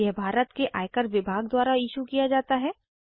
यह भारत के आयकर विभाग द्वारा इशू किया जाता है